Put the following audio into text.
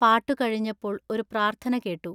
പാട്ടു കഴിഞ്ഞപ്പോൾ ഒരു പ്രാർത്ഥന കേട്ടു.